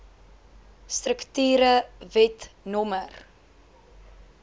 strukture wet no